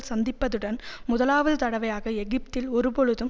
சந்திப்பதுடன் முதலாவது தடவையாக எகிப்தில் ஒரு பொழுதும்